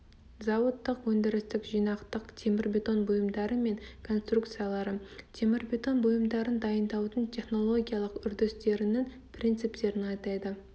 зауыттық өндірістік жинақтық темірбетон бұйымдары мен конструкциялары темірбетон бұйымдарын дайындаудың технологиялық үрдістерінің принциптерін атайды